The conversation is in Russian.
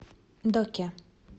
доке